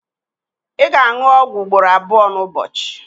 ị ga-aṅụ ọgwụ ugboro abụọ n'ụbọchị